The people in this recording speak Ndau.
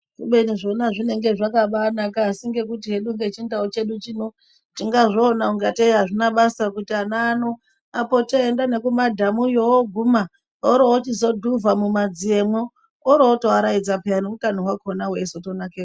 Kubeni zvona zvinenge zvakabaanaka asi ngekuti hedu ngechindau chedu chino tingazviona ungatei hazvina basa kuti ana ano apote eienda nekumadhamuyo ooguma oorochizodhuvha mumadziyemwo oorotoaraidza peya, neutano hwakona hwetozonakepo.